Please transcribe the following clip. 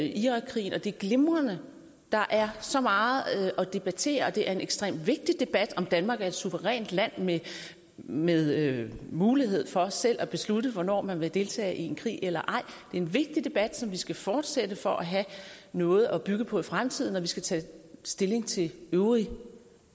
irakkrigen og det er glimrende der er så meget at debattere og det er en ekstremt vigtig debat om danmark er et suverænt land med med mulighed for selv at beslutte hvornår man vil deltage i en krig eller ej er en vigtig debat som vi skal fortsætte for at have noget at bygge på i fremtiden når vi skal tage stilling til øvrig